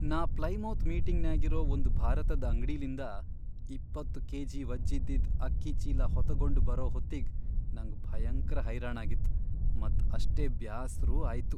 ನಾ ಪ್ಲೈಮೌತ್ ಮೀಟಿಂಗ್ನ್ಯಾಗಿರೋ ಒಂದ್ ಭಾರತದ್ ಅಂಗ್ಡಿಲಿಂದ ಇಪ್ಪತ್ತು ಕೆಜಿ ವಜ್ಝಿದಿದ್ ಅಕ್ಕಿ ಚೀಲಾ ಹೊತಗೊಂಡ್ ಬರೋ ಹೊತ್ತಿಗ್ ನಂಗ್ ಭಯಂಕ್ರ ಹೈರಾಣಾಗಿತ್ತ್ ಮತ್ ಅಷ್ಟೇ ಬ್ಯಾಸ್ರೂ ಆಯ್ತು.